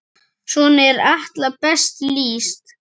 Svona er Atla best lýst.